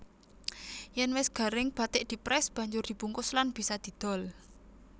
Yèn wis garing bathik diprès banjur dibungkus lan bisa didol